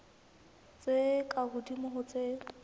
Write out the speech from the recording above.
tse ka hodimo ho tse